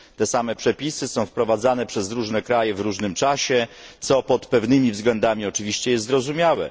Te same przepisy są wprowadzane przez różne kraje w różnym czasie, co pod pewnymi względami jest oczywiście zrozumiałe.